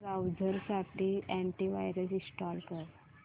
browser साठी antivirus install कर